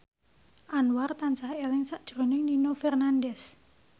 Anwar tansah eling sakjroning Nino Fernandez